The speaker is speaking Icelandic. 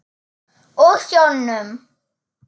Og sjónum.